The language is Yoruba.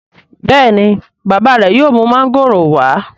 béèni bàbá re yóò mú Mángòrò wa?